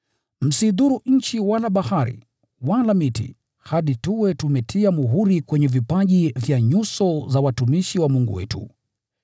“Msiidhuru nchi wala bahari, wala miti, hadi tuwe tumetia muhuri kwenye vipaji vya nyuso za watumishi wa Mungu wetu.”